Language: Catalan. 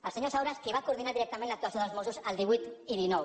el senyor saura és qui va coordinar directament l’actuació dels mossos el divuit i dinou